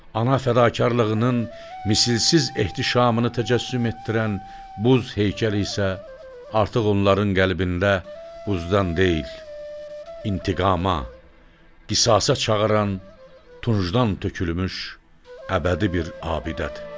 Ana fədakarlığının misilsiz ehtişamını təcəssüm etdirən buz heykəli isə artıq onların qəlbində buzdan deyil, intiqama, qisasa çağıran tuncdan tökülmüş əbədi bir abidədir.